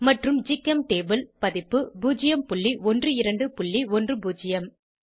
மற்றும் ஜிகெம்டேபுள் பதிப்பு 01210